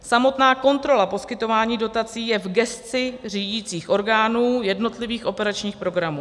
Samotná kontrola poskytování dotací je v gesci řídicích orgánů jednotlivých operačních programů.